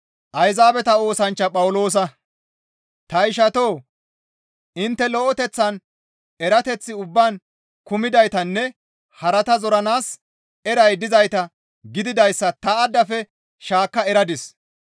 Ta ishatoo! Intte lo7eteththan, erateth ubbaan kumidaytanne harata zoranaas eray dizayta gididayssa ta addafe shaakka eradis.